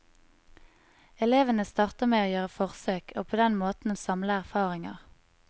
Elevene starter med å gjøre forsøk og på den måten samle erfaringer.